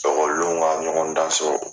ekɔlidenw wa ɲɔgɔndanso